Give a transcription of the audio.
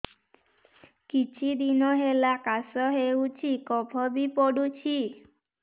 କିଛି ଦିନହେଲା କାଶ ହେଉଛି କଫ ବି ପଡୁଛି